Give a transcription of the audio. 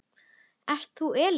Ert þú Elín?